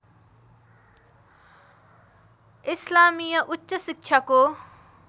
इस्लामिया उच्च शिक्षाको